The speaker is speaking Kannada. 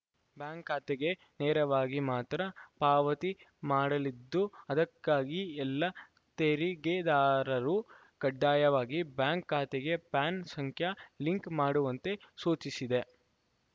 ಬ್ಯಾಂಕ್‌ ಖಾತೆಗೆ ನೇರವಾಗಿ ಮಾತ್ರ ಪಾವತಿ ಮಾಡಲಿದ್ದು ಅದಕ್ಕಾಗಿ ಎಲ್ಲ ತೆರಿಗೆದಾರರೂ ಕಡ್ಡಾಯವಾಗಿ ಬ್ಯಾಂಕ್‌ ಖಾತೆಗೆ ಪಾನ್‌ ಸಂಖ್ಯೆ ಲಿಂಕ್‌ ಮಾಡುವಂತೆ ಸೂಚಿಸಿದೆ